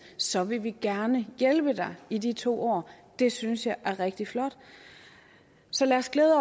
så vil vi gerne hjælpe dig i de to år det synes jeg er rigtig flot så lad os glæde